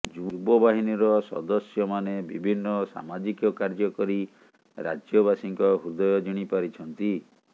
ଯୁବ ବାହିନୀର ସଦସ୍ୟମାନେ ବିଭିନ୍ନ ସାମାଜିକ କାର୍ଯ୍ୟ କରି ରାଜ୍ୟବାସୀଙ୍କ ହୃଦୟ ଜିଣି ପାରିଛନ୍ତି